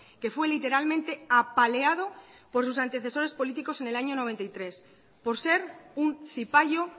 que fue literalmente apaleado por sus antecesores políticos en el año noventa y tres por ser un cipayo